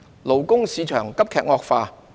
勞工市場急劇惡化。